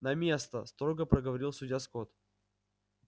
на место строго проговорил судья скотт